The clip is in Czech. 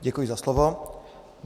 Děkuji za slovo.